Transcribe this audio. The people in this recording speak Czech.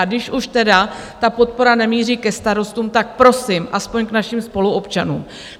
A když už tedy ta podpora nemíří ke starostům, tak prosím, aspoň k našim spoluobčanům.